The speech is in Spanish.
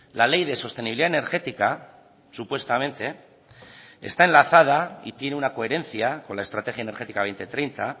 la ley de sostenibilidad energética supuestamente está enlazada y tiene una coherencia con la estrategia energética dos mil treinta